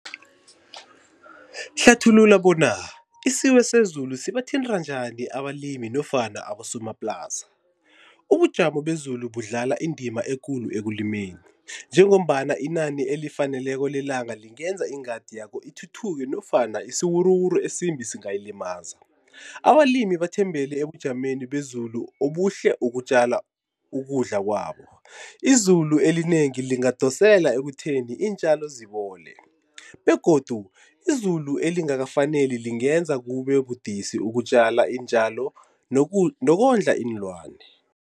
Hlathulula bona isiwesezulu sibathinta njani abalimi nofana abosomaplasa. Ubujamo bezulu budlala indima ekulu ekulimeni njengombana inani elifaneleko lelanga lingenza ingadi yakho ithuthuke nofana isiwuruwuru esimbi singayilimaza. Abalimi bathembele ebujameni bezulu obuhle ukutjala ukudla kwabo. Izulu elinengi lingadosela ekutheni iintjalo zibole begodu izulu elingakafaneli lingenza kube budisi ukutjala iintjalo nokondla iinlwane.